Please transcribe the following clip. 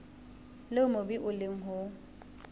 leo mobu o leng ho